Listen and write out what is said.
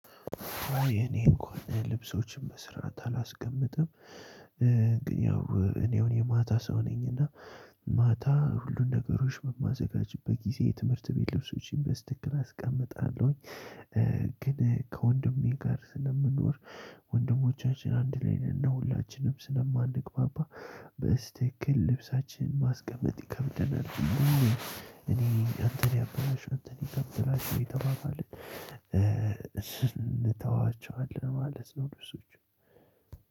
የኔ እንኳን ልብሶችን በስራት አላስቀምጥም። ግን ያው እኔ አሁን የማታ ሰው ነኝና። ማታ ሁሉን ነገሮች በማዘጋጅበት ጊዜ የትምህርት ቤት ልብሶችን በስትክል አስቀምጣለሁኝ። ግን ከወንድሜ ጋር ስለምኖር ወንድሞቻችን አንድ ላይ ነን ሁላችንም ስለማንግባባ በስትክል ልብሳችንን ማስቀመጥ ይከብደናል። እኔ አንተን ያበላሽ አንተን ያበላሽ ይተባባልን እስንተዋቸዋለን ማለት ነው። ልብሶቹን